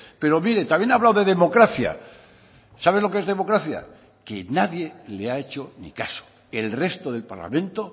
pero mire también ha hablado de democracia sabe lo que es democracia que nadie le ha hecho ni caso el resto del parlamento